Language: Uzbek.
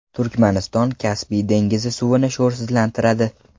Turkmaniston Kaspiy dengizi suvini sho‘rsizlantiradi.